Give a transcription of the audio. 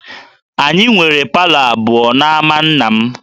Anyị nwere palọ abụọ n'ámá nna m